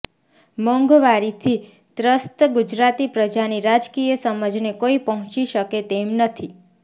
મોંઘવારીથી ત્રસ્ત ગુજરાતી પ્રજાની રાજકીય સમજને કોઈ પહોંચી શકે તેમ નથી